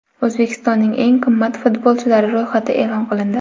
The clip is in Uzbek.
O‘zbekistonning eng qimmat futbolchilari ro‘yxati e’lon qilindi.